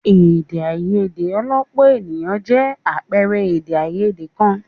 Èdè àìyedè ọlọ́pọ̀ ènìyàn jẹ́ àpẹẹrẹ èdè àìyedè kan.